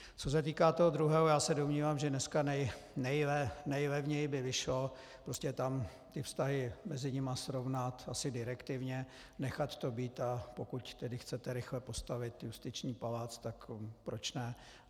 Co se týká toho druhého, já se domnívám, že dneska nejlevněji by vyšlo prostě tam ty vztahy mezi nimi srovnat asi direktivně, nechat to být, a pokud tedy chcete rychle postavit justiční palác, tak proč ne.